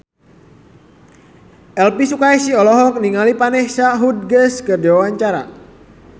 Elvy Sukaesih olohok ningali Vanessa Hudgens keur diwawancara